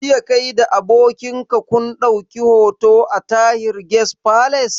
Jiya kai da abokin ka kun ɗauki hoto a Tahir Guest Palace